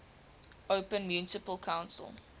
open municipal council